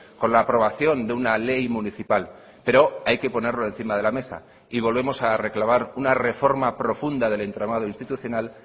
con la aprobación de una ley municipal pero hay que ponerlo encima de la mesa y volvemos a reclamar una reforma profunda del entramado institucional